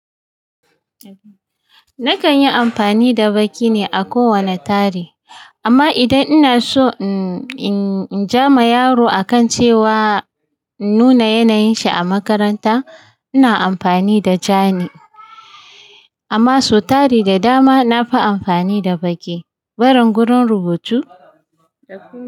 Nakan yi amfani da baki ne a kowane tari, amma idan ina so in ja ma yaro akan cewa nuna yanayin shi a makaranta, ina amfani da ja ne. Amma su tari da dama na fi amfani da baki. Bari gurin rubutu?